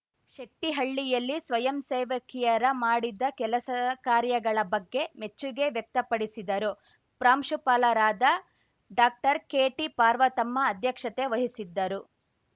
ಶೆಟ್ಟಿಹಳ್ಳಿಯಲ್ಲಿ ಸ್ವಯಂಸೇವಕಿಯರ ಮಾಡಿದ ಕೆಲಸ ಕಾರ್ಯಗಳ ಬಗ್ಗೆ ಮೆಚ್ಚುಗೆ ವ್ಯಕ್ತಪಡಿಸಿದರು ಪ್ರಾಂಶುಪಾಲರಾದ ಡಾಕ್ಟರ್ಕೆಟಿಪಾರ್ವತಮ್ಮ ಅಧ್ಯಕ್ಷತೆ ವಹಿಸಿದ್ದರು